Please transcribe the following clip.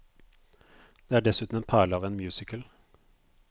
Det er dessuten en perle av en musical.